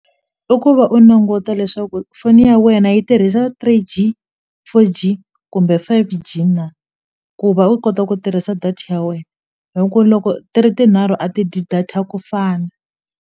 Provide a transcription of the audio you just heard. I ku va u languta leswaku foni ya wena yi tirhisa three-G four-G kumbe five-G na ku va u kota ku tirhisa data ya wena hi ku loko ti ri tinharhu a ti dyi data ku fana.